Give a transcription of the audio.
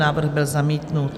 Návrh byl zamítnut.